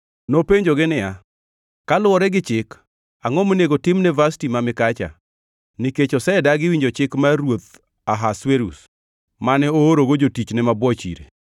Nopenjogi niya, “Kaluwore gi chik, angʼo monego timne Vashti ma mikacha? Nikech osedagi winjo chik mar ruoth Ahasuerus mane oorogo jotichne mabwoch ire.”